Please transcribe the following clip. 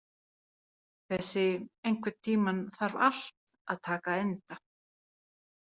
Bessi, einhvern tímann þarf allt að taka enda.